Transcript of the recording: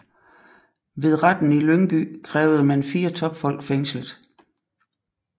Ved Retten i Lyngby krævede man fire topfolk fængslet